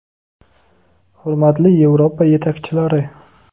Hurmatli Yevropa yetakchilari.